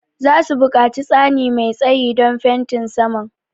Za su buƙaci tsani mai tsayi don fenti saman.